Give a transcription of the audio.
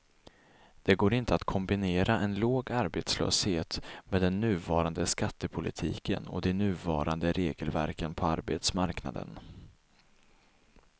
Det går inte att kombinera en låg arbetslöshet med den nuvarande skattepolitiken och de nuvarande regelverken på arbetsmarknaden.